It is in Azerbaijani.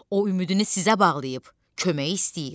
O ümidini sizə bağlayıb, kömək istəyir.